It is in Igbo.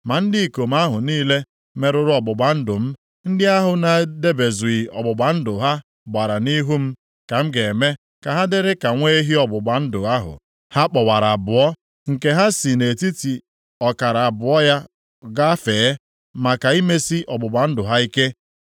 Ma ndị ikom ahụ niile merụrụ ọgbụgba ndụ m, ndị ahụ na-edebezughị ọgbụgba ndụ ha gbara nʼihu m, ka m ga-eme ka ha dịrị ka nwa ehi ọgbụgba ndụ ahụ ha kpọwara abụọ, nke ha si nʼetiti ọkara abụọ ya gafee, maka imesi ọgbụgba ndụ ha ike.